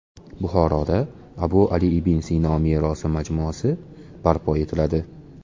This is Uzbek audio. Buxoroda Abu Ali ibn Sino merosi majmuasi barpo etiladi.